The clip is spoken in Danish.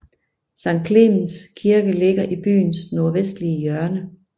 Sankt Clemens Kirke ligger i byens nordvestlige hjørne